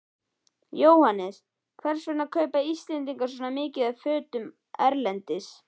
Jóhannes: Hvers vegna kaupa Íslendingar svona mikið af fötum erlendis?